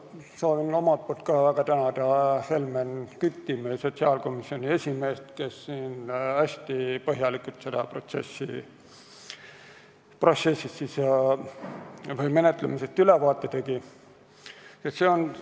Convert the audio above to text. Ma soovin algatuseks ka väga tänada Helmen Kütti, meie sotsiaalkomisjoni esimeest, kes tegi siin hästi põhjaliku ülevaate kogu menetluse protsessist.